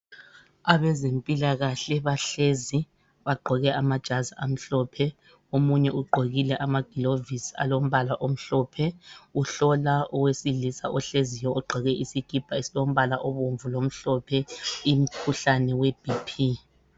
Abalezempilakahle bahlezi bagqoke amajazi amhlophe. Omunye ugqokile amaglovisi alombala omhlophe, uhlola owesilisa ohlezi logqoke isikipa esilombala obomvu lomhlophe i... mkhuhlane webhiphi.